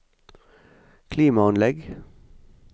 klimaanlegg